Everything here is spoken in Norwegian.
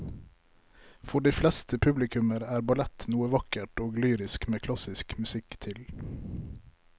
For de fleste publikummere er ballett noe vakkert og lyrisk med klassisk musikk til.